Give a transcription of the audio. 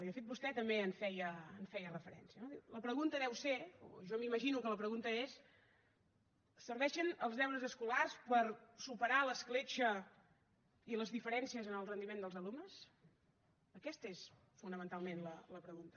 i de fet vostè també hi feia referència no la pregunta serà o jo m’imagino que la pregunta és serveixen els deures escolars per superar l’escletxa i les diferències en el rendiment dels alumnes aquesta és fonamentalment la pregunta